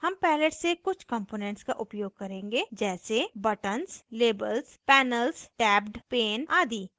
हम palette से कुछ कंपोनेंट्स का उपयोग करेंगे जैसे buttons labels panels tabbed pane आदि